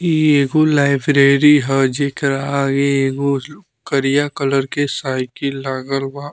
ई एगो लाइब्रेरी ह जेकर आगे एगो करिया कलर के साईकिल लागल बा।